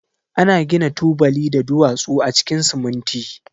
Ana gina tubali da duwatsu a cikin siminti.